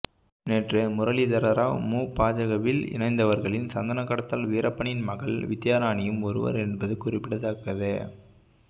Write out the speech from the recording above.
நேற்று முரளிதரராவ் மு பாஜகவில் இணைந்தவர்களில் சந்தன கடத்தல் வீரப்பனின் மகள் வித்யாராணியும் ஒருவர் என்பது குறிப்பிடத்தக்கது